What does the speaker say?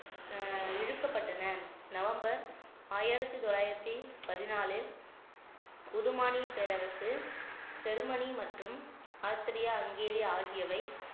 அஹ் இழுக்கப்பட்டன நவம்பர் ஆயிரத்தி தொள்ளாயிரத்தி பதினாலில் புதுமானிய பேரரசு ஜெர்மனி மற்றும் ஆஸ்திரியா ஹங்கேரி ஆகியவை